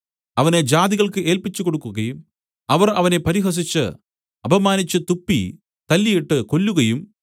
അവനെ ജാതികൾക്ക് ഏല്പിച്ചുകൊടുക്കുകയും അവർ അവനെ പരിഹസിച്ചു അപമാനിച്ചു തുപ്പി തല്ലീട്ട് കൊല്ലുകയും